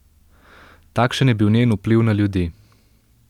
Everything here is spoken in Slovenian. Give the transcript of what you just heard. Takšen je bil njen vpliv na ljudi.